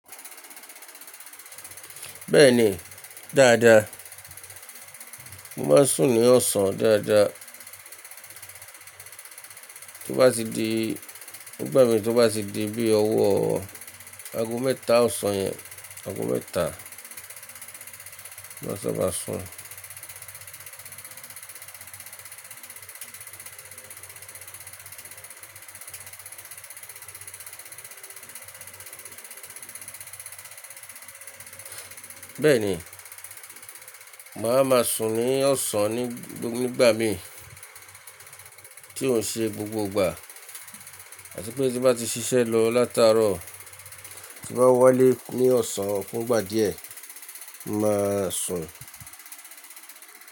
Bẹ́ẹ̀ni, dáadáa. Mo má ń sùn ní ọ̀sán dáadáa. Tó bá ti di ngbà mi tó bá ti di bí ọwọ́ aago mẹ́ta ọ̀sán yẹn, aago mẹ́ta mo máa n saba sùn,. Bẹ́ẹ̀ni, maa máa sùn ní ọ̀sán ni, gbogbo ngbà mi tí ò n ṣe gbogbo ìgbà. Àti pé tí bá ti ṣiṣẹ́ lọ látàárọ̀ tí bá wálé ní ọ̀sán fúngbà díẹ̀, n máa sùn.